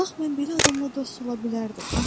Bax mən belə adamla dost ola bilərdim.